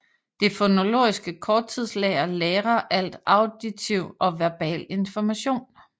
Det fonologiske korttidslager lagrer al auditiv og verbal information